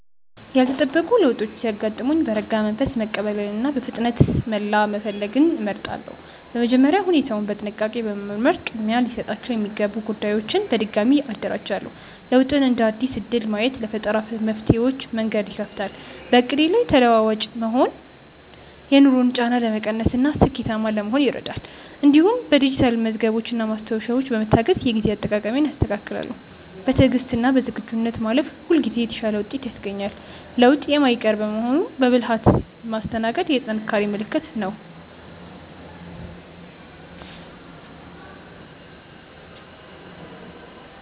ያልተጠበቁ ለውጦች ሲያጋጥሙኝ በረጋ መንፈስ መቀበልንና በፍጥነት መላ መፈለግን እመርጣለሁ። በመጀመሪያ ሁኔታውን በጥንቃቄ በመመርመር ቅድሚያ ሊሰጣቸው የሚገቡ ጉዳዮችን በድጋሚ አደራጃለሁ። ለውጥን እንደ አዲስ እድል ማየት ለፈጠራ መፍትሄዎች መንገድ ይከፍታል። በዕቅዴ ላይ ተለዋዋጭ መሆን የኑሮን ጫና ለመቀነስና ስኬታማ ለመሆን ይረዳል። እንዲሁም በዲጂታል መዝገቦችና ማስታወሻዎች በመታገዝ የጊዜ አጠቃቀሜን አስተካክላለሁ። በትዕግስትና በዝግጁነት ማለፍ ሁልጊዜ የተሻለ ውጤት ያስገኛል። ለውጥ የማይቀር በመሆኑ በብልሃት ማስተናገድ የጥንካሬ ምልክት ነው።